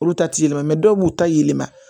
Olu ta te yɛlɛma mɛ dɔw b'u ta yɛlɛma